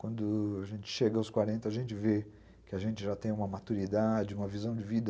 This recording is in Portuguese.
Quando a gente chega aos quarenta, a gente vê que a gente já tem uma maturidade, uma visão de vida...